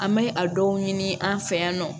An bɛ a dɔw ɲini an fɛ yan nɔ